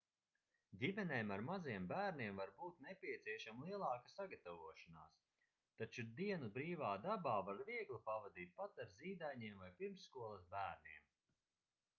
ģimenēm ar maziem bērniem var būt nepieciešama lielāka sagatavošanās taču dienu brīvā dabā var viegli pavadīt pat ar zīdaiņiem vai pirmsskolas bērniem